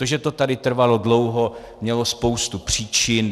To, že to tady trvalo dlouho, mělo spoustu příčin.